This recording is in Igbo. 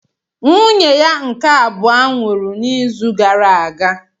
Nwunye ya nke abụọ nwụrụ n'izu gara aga